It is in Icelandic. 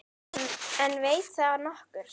En veit það nokkur?